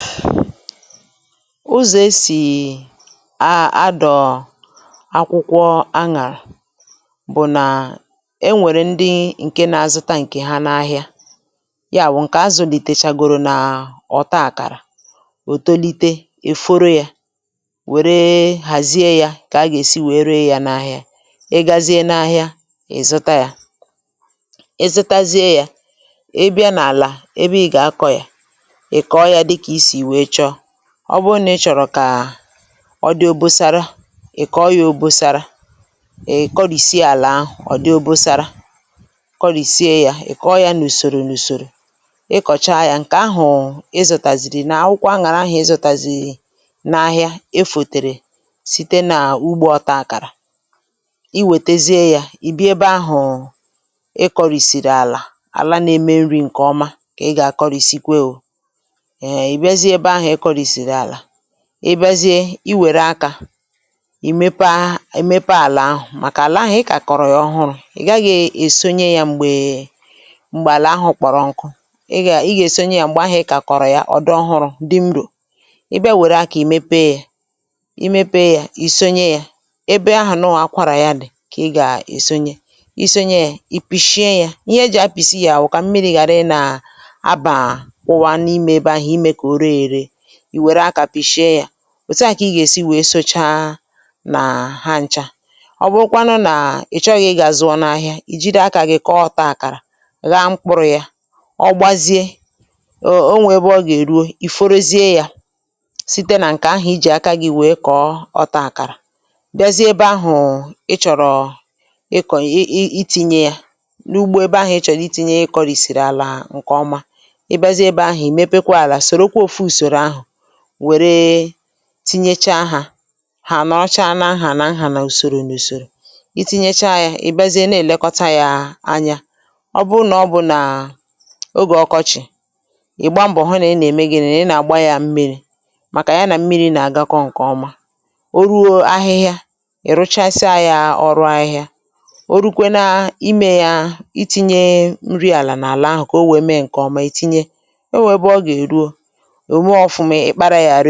Uzọ̀ e sì à àdọ̀ akwụkwọ anyàrà bụ̀ nà e nwèrè ndị ǹke na-azụta ǹkè ha n’ahịa ya bụ̀ ǹkè a zụ̀lìtèchàgòrò nà ọ̀ta àkàrà, ò tolite, eforo yȧ, wère hàzie ya kà a gà-èsi wee ree ya n’ahịa, ị gazie n’ahịa ị̀ zụta yȧ, ị zụtazie yȧ, ị bịa n’àlà ébé ị gà-akọ ya, ịkọ yȧ dika ịsị wéé chọọ, ọ bụrụ nà ị chọ̀rọ̀ kà ọ dị obosara, ị̀ kọọ ya obosara, ị̀ kọrìsie àlà ahụ̀ ọ dị obosara, kọrìsie yȧ ị̀ kọọ yȧ n’ùsòrò n’ùsòrò, ị kọ̀cha yȧ ǹkè ahụ̀ ịzutàzìrì nà akwụkwa anyàrà ahu izutàzìrì n’ahịa efòtèrè site n’ugbo ọta akàrà, i wètezie yȧ ì bia ebe ahụ̀ ị kọ̀rìsìrì àlà, àla n’eme nri̇ ǹkè ọma kà ị gà akọrìsikwe ò, ehe e biazie ébé ahụ̀ e kọrị̀sìrì àlà, ị̀ biazie i wère akȧ ì mepee ì mepee àlà ahụ̀ màkà àlà ahụ̀ ị kàkọ̀rọ̀ yà ọhụrụ̇ ị gaghị̇ èsonye yȧ m̀gbè m̀gbè àlà ahụ̀ kpọ̀rọ nku̇, ị gà ị gà èsonye yȧ m̀gbè ahụ̀ a kàkọ̀rọ̀ yà ọdị ọhụrụ̇ dị mro, ị bịa wère akȧ ì mepee yȧ, ì mepee yȧ, ì sonye yȧ ,ebe ahụ̀ nọwà akwarà yà dị̀ kà ị gà èsonye, isonye yȧ ì pìshie yȧ, ihe e jì apìsi yȧ wụ̀kà mmiri̇ ghàra ị nà abà kwụwa n’ime ebe ahụ̀ ímé ka ore ere, I wéré aka pìshie ya, òtu à kà ị gà-èsi wèe socha nà ha ncha, ọ bụrụkwanụ nà ị̀ chọ gà ị̀ ga-azụọ n’ahịa ì jiri akȧ gị kọọ ọ̀ta àkàrà gha mkpụrụ̇ ya, ọ gbazie, ọ nwẹ̀ ebe ọ gà-èruo ì forozie yȧ, site nà ǹkẹ̀ ahụ̀ i jì aka gị̇ wèe kọ̀ọ ọta àkàrà, bịazie ebe ahụ̀ ị chọ̀rọ̀ ịkọ̀ ị itinyė ya, n’ugbo ebe ahụ̀ ị chọ̀rọ̀ itinyė ị kọ̀rìsìrì àlà ǹkè ọma, ị biazie ebe ahụ̀ ị̀ mepekwa àlà sòrò kwá ọfù ùsòrò ahu wéré tinyecha hà, hà ànọrọcha n’nhà n'hà nà ùsòrò n’ùsòrò, itinyecha yȧ ị̀ bịazie na èlekọta yȧ anya, ọ bụrụ nà ọ bụ̀ nà ọge ọkọchị̀ ị̀gba mbọ̀ hụ nà ị nà-ème gịnị, nà ị nà-àgba yȧ mmiri̇, màkà ya nà mmiri̇ nà-àgakọ ǹkèọma, o ruo ahịhịa ì ruchasịa yȧ ọrụ ahịhịa, o rukwe n’ime ya itinye nri àlà n’àlà ahụ̀ kà o wèe mee ǹkèọma itinye, enwe ébé oga eruo ome ofụma ị́kpara ya.